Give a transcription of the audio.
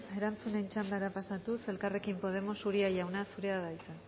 erantzunen txandara pasatuz elkarrekin podemos uria jauna zurea da hitza